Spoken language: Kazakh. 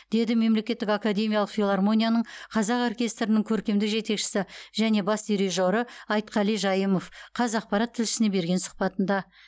деді мемлекеттік академиялық филармонияның қазақ оркестрінің көркемдік жетекшісі және бас дирижері айтқали жайымов қазақпарат тілшісіне берген сұхбатында